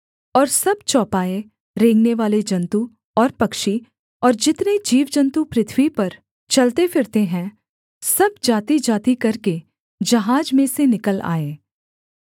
और सब चौपाए रेंगनेवाले जन्तु और पक्षी और जितने जीवजन्तु पृथ्वी पर चलते फिरते हैं सब जातिजाति करके जहाज में से निकल आए